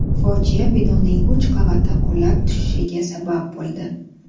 Fojia binoning uch qavati qulab tushishiga sabab bo‘ldi.